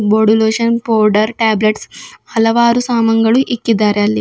Body lotion powder tablets ಹಲವಾರು ಸಾಮಾನ್ಗಳು ಇಕ್ಕಿದಾರೆ ಅಲ್ಲಿ.